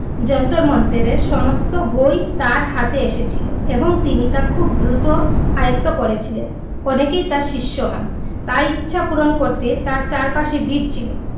জান্তার মন্তরের সমস্ত বই তার হাতে এ সে ছিলো এবং তিনি তা খুবই দ্রুত আয়ত্ত করে ছিলেন। অনেকে তার শিষ্য হন, তাই ইচ্ছা পুর ন করতে তার চার পাসে ভিড় ছিলো।